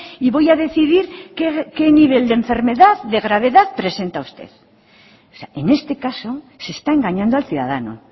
y voy a decidir qué nivel de enfermedad de gravedad presenta usted en este caso se está engañando al ciudadano